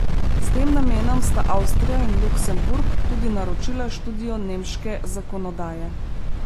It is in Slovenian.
S tem namenom sta Avstrija in Luksemburg tudi naročila študijo nemške zakonodaje.